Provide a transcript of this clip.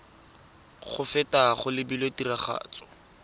go feta go lebilwe tiragatso